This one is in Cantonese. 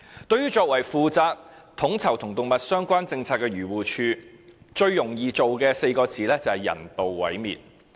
對於作為負責統籌與動物相關政策的漁護署，最容易做到的4個字是"人道毀滅"。